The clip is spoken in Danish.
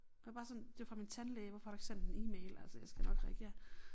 Og bare sådan det var fra min tandlæge hvorfor har du ikke sendt en e-mail altså jeg skal nok reagere